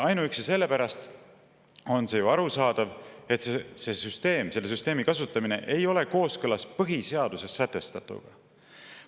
Ainuüksi sellepärast on see ju arusaadav, et selle süsteemi kasutamine ei ole kooskõlas põhiseaduses sätestatuga.